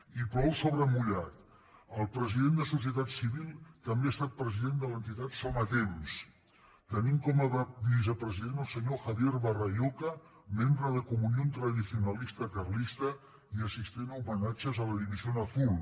i plou sobre mullat el president de societat civil també ha estat president de l’entitat somatemps tenint com a vicepresident el senyor javier barraycoa membre de comunión tradicionalista carlista i assistent a homenatges a la división azul